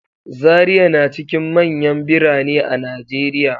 Zariya na cikin manyan birane a Najeriya.